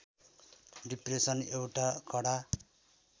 depression एउटा कडा